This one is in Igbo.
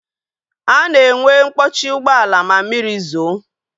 A na-enwe mkpọchi ụgbọala ma mmiri zoo